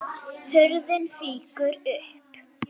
Hurðin fýkur upp.